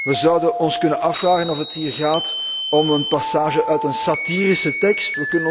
We zouden ons kunnen afvragen of het hier gaat om een passage uit een satirische tekst.